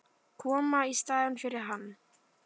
Koma í staðinn fyrir hann.